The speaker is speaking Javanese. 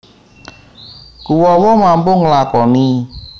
Kuwawa Mampu nglakoni